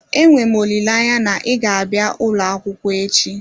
Enwe m olileanya na ị ga-abịa ụlọ akwụkwọ echi